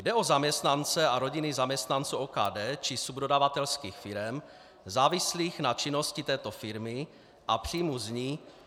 Jde o zaměstnance a rodiny zaměstnanců OKD či subdodavatelských firem závislých na činnosti této firmy a příjmů z ní.